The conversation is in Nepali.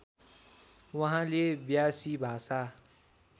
उहाँले व्यासी भाषा